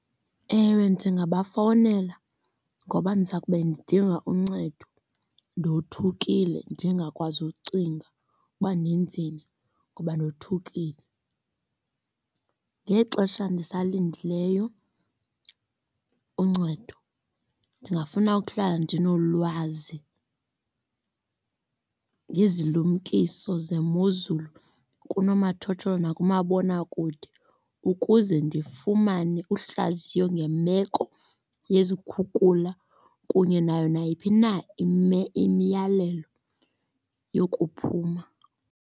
Ewe, ndingabafowunela ngoba ndiza kube ndidinga uncedo, ndothukile ndingakwazi ucinga uba ndenzeni ngoba ndothukile. Ngexesha ndisalindileyo uncedo ndingafuna ukuhlala ndinolwazi ngezilumkiso zemozulu kunomathotholo nakumabonakude. Ukuze ndifumane uhlaziyo ngemeko yezikhukula kunye nayo nayiphi na imiyalelo yokuphuma.